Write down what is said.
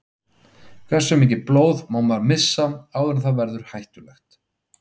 Hversu mikið blóð má maður missa áður en það verður hættulegt?